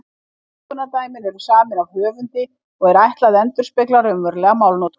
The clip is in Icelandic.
Notkunardæmin eru samin af höfundi og er ætlað að endurspegla raunverulega málnotkun.